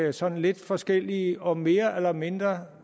af sådan lidt forskellige og mere eller mindre